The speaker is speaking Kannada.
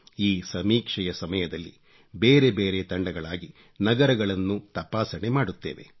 ಈ ಸಮೀಕ್ಷೆಯ ಸಮಯದಲ್ಲಿ ಬೇರೆ ಬೇರೆ ತಂಡಗಳಾಗಿ ನಗರಗಳನ್ನು ತಪಾಸಣೆ ಮಾಡುತ್ತೇವೆ